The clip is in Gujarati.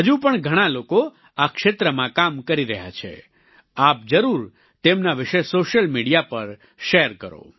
હજુ પણ ઘણાં લોકો આ ક્ષેત્રમાં કામ કરી રહ્યા હશે આપ જરૂર તેમના વિશે સોશિયલ મીડિયા પર શેર કરો